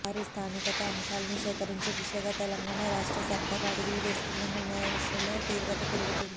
వారి స్థానికత అంశాల్ని సేకరించే దిశగా తెలంగాణ రాష్ట్ర సర్కారు అడుగులు వేస్తుందన్న విమర్శల తీవ్రత పెరుగుతోంది